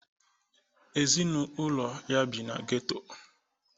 Ezinaụlọ ha bi n'geto